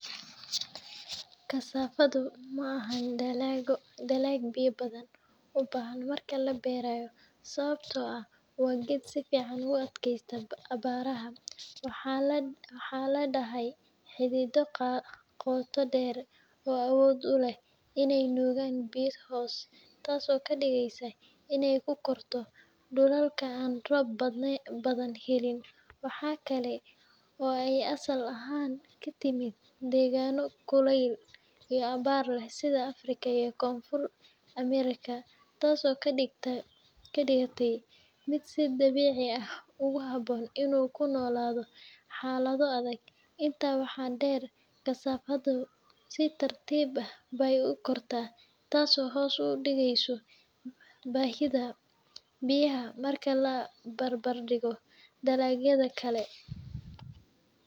Cassava maha dalagu biya badan ubahan an marka laberayo sawabto ah waa geed sifican u aad keste cabaraha waxaa ladehe xidhito qota deer oo uleh awod ee nugan biya hos tas oo kadigeysa in ee u korto dulalka an rob badan helin waxaa kale waye asal ahan degano kulel iyo cabar leh sitha africa iyo konfurta america tas oo kadigtey miid si dabici ugu habon in u kunolatho xaladho adhag inta waxaa der Cassava dhu si fican be u korta tas oo hos udigeso bahidha biyaha marka la bar bar digo dalagyadha kale.